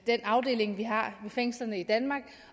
den afdeling vi har ved fængslerne i danmark